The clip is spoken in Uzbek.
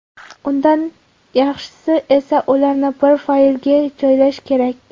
Undan yaxshisi esa ularni bir faylga joylash kerak.